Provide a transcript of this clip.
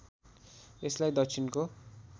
यसलाई दक्षिणको